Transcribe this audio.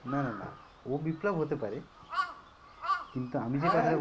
না না না ও বিপ্লব হতে পারে কিন্তু আমি যে কথাটা বল